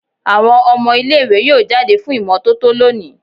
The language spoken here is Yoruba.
Awọn ọmọ ile-iwe yoo jade fun imototo loni